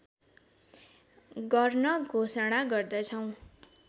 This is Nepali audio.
गर्ने घोषणा गर्दछौँ